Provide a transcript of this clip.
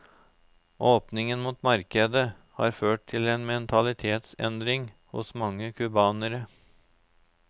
Åpningen mot markedet har ført til en mentalitetsendring hos mange cubanere.